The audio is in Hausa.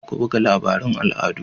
Ku ba da labarun al'adu!